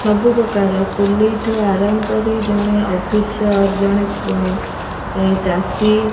ସବୁ ପ୍ରକାର କୁଲେଇ ଠାରୁ ଆରମ୍ଭ ଜଣେ ଅଫିସର ଜଣେ ଚାଷୀ --